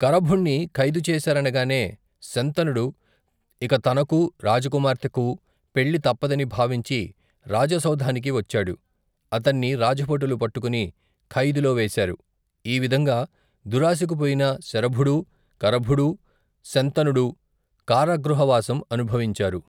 కరభుణ్ణి ఖైదుచేశారనగానే శంతనుడు ఇక తనకూ రాజకుమార్తెకూ పెళ్ళి తప్పదని భావించి రాజసౌధానికి వచ్చాడు, అతన్ని రాజభటులు పట్టుకుని ఖైదులో వేశారు, ఈ విధంగా దురాశకు పోయిన శరభుడూ కరభుడూ శంతనుడూ కారాగృహ వాసం అనుభవించారు.